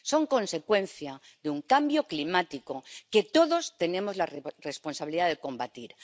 es consecuencia de un cambio climático que todos tenemos la responsabilidad de combatir.